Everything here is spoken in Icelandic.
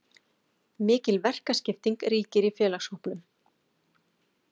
Mikil verkaskipting ríkir í félagshópnum.